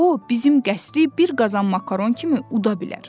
Hətta o bizim qəsdə bir qazan makaron kimi uda bilər.